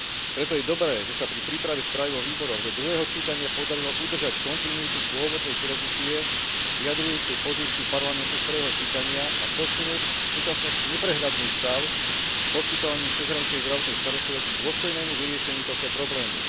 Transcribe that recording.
Preto je dobré, že sa pri príprave správy vo výboroch do druhého čítania podarilo udržať kontinuitu pôvodnej filozofie vyjadrujúcej pozíciu Parlamentu z prvého čítania a posunúť v súčasnosti neprehľadný stav v poskytovaní cezhraničnej zdravotnej starostlivosti k dôstojnému vyriešeniu tohto problému.